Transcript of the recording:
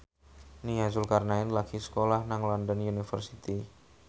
Nia Zulkarnaen lagi sekolah nang London University